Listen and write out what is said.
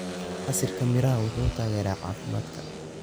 Casiirka miraha waxa uu taageeraa caafimaadka.